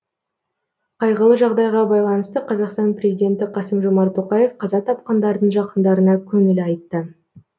қайғылы жағдайға байланысты қазақстан президенті қасым жомарт тоқаев қаза тапқандардың жақындарына көңіл айтты